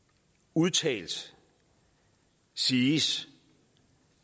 udtalt siges